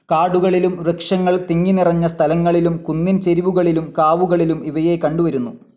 കാടുകളിലും, വൃക്ഷങ്ങൾ തിങ്ങിനിറഞ്ഞ സ്ഥലങ്ങളിലും, കുന്നിൻ ചെരിവുകളിലും, കാവുകളിലും ഇവയെ കണ്ടുവരുന്നു.